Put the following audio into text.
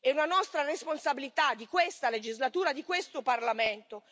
È una nostra responsabilità, di questa legislatura, di questo Parlamento!